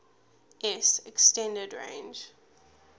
s extended range